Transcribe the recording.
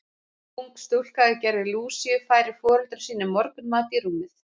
Ung stúlka í gervi Lúsíu færir foreldrum sínum morgunmat í rúmið.